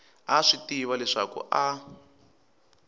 a swi tiva leswaku a